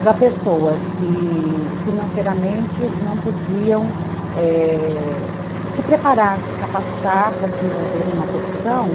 para pessoas que financeiramente não podiam, é... se preparar, se capacitar para desenvolver uma profissão.